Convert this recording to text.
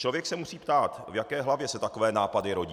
Člověk se musí ptát, v jaké hlavě se takové nápady rodí.